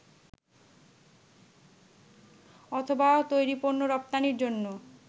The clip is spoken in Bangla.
অথবা তৈরি পণ্য রপ্তানির জন্য